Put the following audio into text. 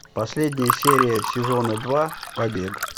последняя серия сезона два побег